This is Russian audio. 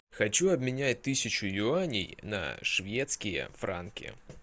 хочу обменять тысячу юаней на шведские франки